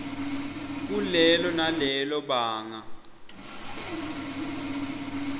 kulelo nalelo banga